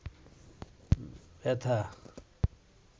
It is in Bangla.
ব্যথা